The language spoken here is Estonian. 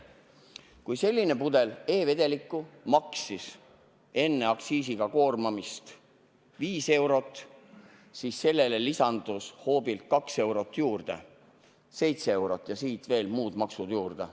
Kui selline pudel e-vedelikku maksis enne aktsiisiga koormamist 5 eurot, siis sellele lisandus hoobilt 2 eurot – nii et 7 eurot ja siis veel muud maksud juurde.